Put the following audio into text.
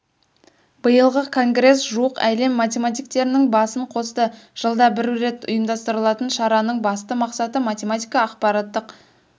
биылғы конгресс жуық әлем математиктерінің басын қосты жылда бір рет ұйымдастырылатын шараның басты мақсаты математика ақпараттық